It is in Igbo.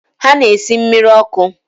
Ha na-esi mmiri ọkụ.